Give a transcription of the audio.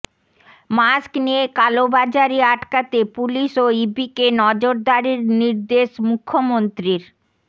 mask নিয়ে কালোবাজারি আটকাতে পুলিশ ও ইবিকে নজরদারির নির্দেশ মুখ্যমন্ত্রীর